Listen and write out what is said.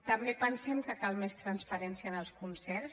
també pensem que cal més transparència en els concerts